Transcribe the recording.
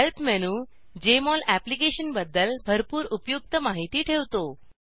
help menu Jmol अप्लिकेशनबद्दल भरपूर उपयुक्त माहिती ठेवतो